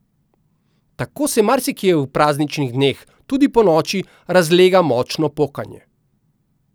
Tako se marsikje v prazničnih dneh, tudi ponoči, razlega močno pokanje.